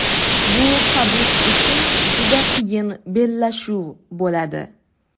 Bu Habib uchun juda qiyin bellashuv bo‘ladi.